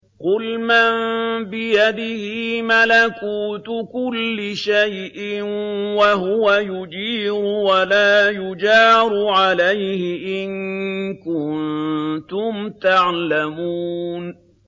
قُلْ مَن بِيَدِهِ مَلَكُوتُ كُلِّ شَيْءٍ وَهُوَ يُجِيرُ وَلَا يُجَارُ عَلَيْهِ إِن كُنتُمْ تَعْلَمُونَ